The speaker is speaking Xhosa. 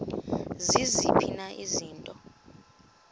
ziziphi na izinto